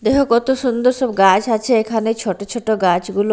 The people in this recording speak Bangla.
দেহো কত সুন্দর সব গাছ আছে এখানে ছোট ছোট গাছগুলো।